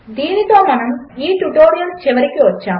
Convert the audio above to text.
దీనితో మనము ఈ ట్యుటోరియల్ చివరికి వచ్చాము